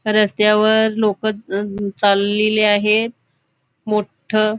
रस्त्यावर लोक अ चाललेली आहेत. मोठ्ठ--